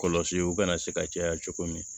Kɔlɔsiw kana se ka caya cogo min